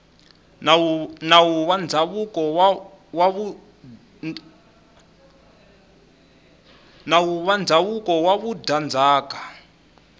nawu wa ndzhavuko wa vudyandzhaka